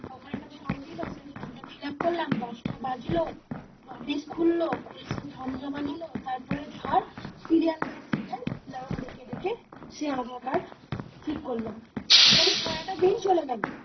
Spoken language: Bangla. ওখানে একটা ফর্ম দিলো সেই ফর্ম টা fill up করলাম, দশটা বাজলো অফিস খুললো, খুলে ফ্রম জমা নিলো, তারপরে ধর serial by serial নাম ডেকে ডেকে সে আধার কার্ড ঠিক করলাম, মানে সারাটা দিন চলে গেলো।